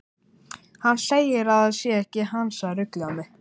Hann segir að það sé ekki hans að rugla mig.